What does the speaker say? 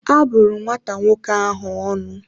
A bụrụ nwata nwoke ahụ ọnụ